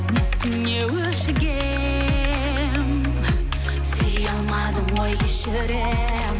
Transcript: несіне өшігемін сүйе алмадың ғой кешіремін